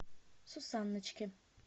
сусанночке